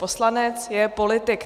Poslanec je politik.